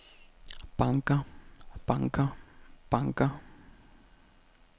banker banker banker